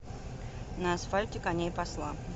на асфальте коней пасла